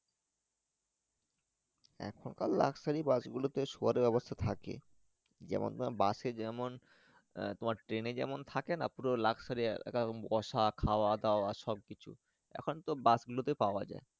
এখন কার Luxury bus গুলো তে শুয়ার ব্যাবস্তা থাকে যেমন bus এ যেমন যে আহ Train এ যেমন থাকে না পুরো Luxury যে রকম বয়স খাওয়া দাওয়া সব কিছু এখন কার Bus গুলো তে পাওয়া যাই।